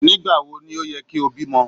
Nígbàwo ni ó ye kí o bímo